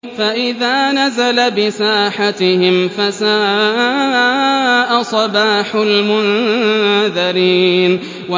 فَإِذَا نَزَلَ بِسَاحَتِهِمْ فَسَاءَ صَبَاحُ الْمُنذَرِينَ